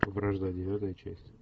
вражда девятая часть